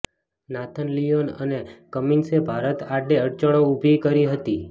Nathan Lyon અને કમિન્સે ભારત આડે અડચણો ઉભી કરી હતી